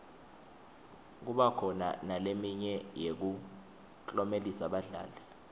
kuba khona naleminye yekuklomelisa badlali